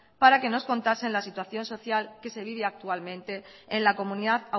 para que nos contasen la situación social que se vive actualmente en la comunidad